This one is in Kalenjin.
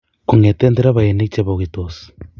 kongete nderefainik chebogitsot